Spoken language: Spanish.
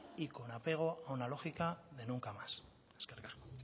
y con apego a una lógica de nunca más